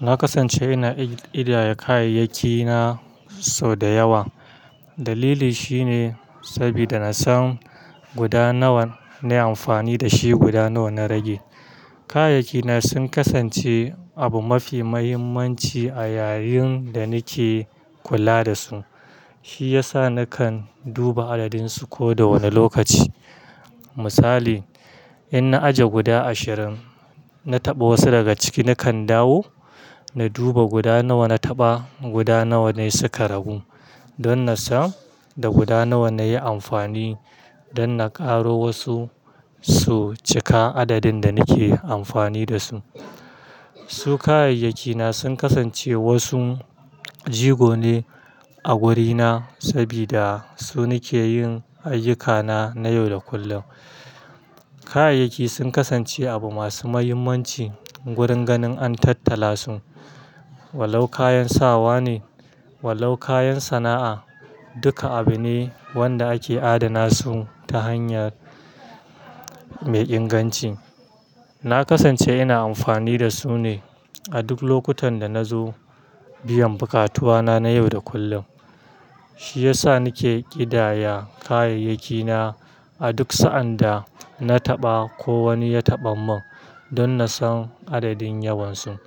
Na kasance ina ƙidaya kayayyaki na sau da yawa. Dalili shine saboda na san guda nawa na yi amfani da shi, guda nawa na rage. Kayayyaki na sun kasance abu mafi mahimmanci a yayin da nake kula da su. Shi ya sa nakan duba adadin su ko da wane lokaci. Misali, in na ajiya guda ashirin, na taɓa wasu daga ciki nakan dawo na duba guda nawa na taɓa, guda nawa ne suka ragu. Don na san da guda nawa na yi amfani don na ƙaro wasu su cika adadin da nake amfani da su. Su kayayyaki na sun kasance wasu jigo ne a wurina saboda su ne ke yin ayuka na na yau da kullum. Kayayyaki sun kasance abu masu mahimmanci wurin ganin an tattala su. Wallau kayan sawa ne, wallau kayan sana'a, duka abu ne wanda ake adana su ta hanya mai inganci. Na kasance ina amfani da su ne a duk lokutan da na zo biyan buƙatuwa na na yau da kullum. Shi ya sa nake ƙidaya kayayyaki na a duk sa'an da na taɓa ko wani ya taɓa mun don na san adadin yawan su.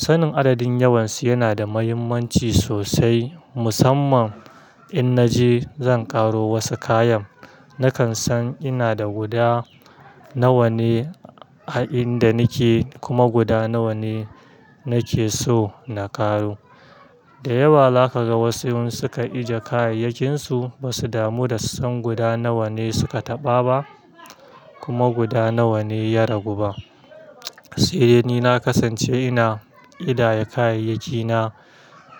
Sanin adadin yawan su yana da mahimmanci sosai. Musamman in na je zan ƙaro wasu kayan, nakan san ina da guda nawa ne a inda nake kuma guda nawa ne nake so na ƙaro. Da yawa za ka ga wasu in suka ajiye kayayyakinsu ba su damu da su san guda nawa ne suka taɓa ba kuma guda nawa ne ya ragu ba. Se ni na kasance ina ƙidaya kayayyaki na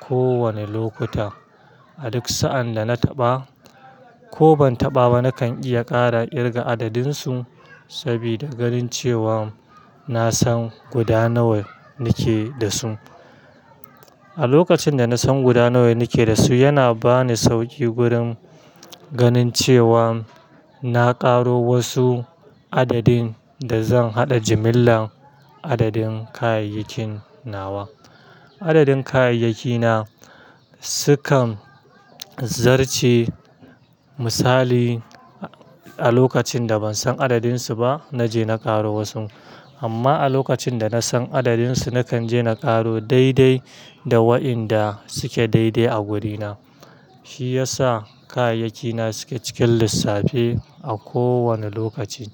ko wane lokuta. A duk sa'an da na taɓa ko ban taɓa ba, nakan iya ƙara ƙirga adadin su sabida ganin cewa na san guda nawa nake da su. A lokacin da na san guda nawa nake da su, yana ba ni sauƙi wurin ganin cewa na ƙaro wasu adadin da zan haɗa jimillar adadin kayayyakin nawa. Adadin kayayyaki na su kan zarce. Misali, a lokacin da ban san adadin su ba, na je na ƙaro wasu. Amma a lokacin da na san adadin su, na kan je na ƙaro daidai da waɗanda suke daidai a wurina. Shi ya sa kayayyaki na su ke cikin lissafi a kowanne lokaci.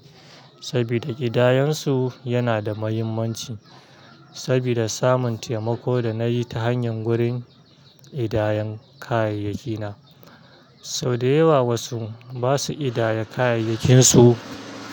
Saboda ƙidayan su yana da mahimmanci sabida samun taimako da na yi ta hanyar gurin ƙidayan kayayyaki na. Sau da yawa wasu ba su ƙidaya kayayyakin su.